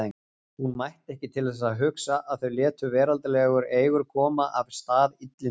Hún mætti ekki til þess hugsa að þau létu veraldlegar eigur koma af stað illindum.